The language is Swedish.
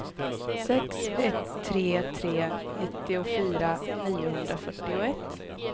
sex ett tre tre nittiofyra niohundrafyrtioett